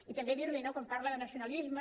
i també dir li quan parla de nacionalisme